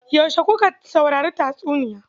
Yaushe kuka saurari tatsuniyar?